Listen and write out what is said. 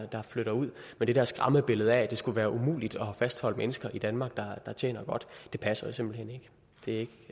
der flytter ud men det der skræmmebillede af at det skulle være umuligt at fastholde mennesker i danmark der tjener godt passer jo simpelt hen ikke det